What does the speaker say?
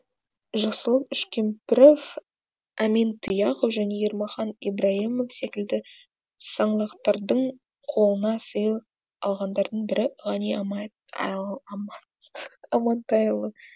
жақсылық үшкемпіров әмин тұяқов және ермахан ибрайымов секілді саңлақтардың қолынан сыйлық алғандардың бірі ғани амантайұлы